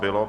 Bylo.